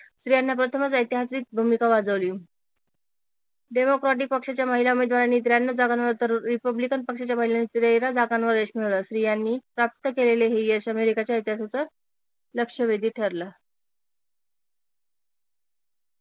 स्त्रियांनी प्रथमच ऐतिहासिक भूमिका वाजवली डेमोक्रॅटिक पक्षाच्या महिला उमेदवारांनी त्र्याण्णव जागांवर तर रिपब्लिकन पक्षाच्या महिलांनी तेरा जागांवर यश मिळवल स्त्रियांनी प्राप्त केलेले हे यश अमेरिकाच्या इतिहासात लक्षवेधी ठरल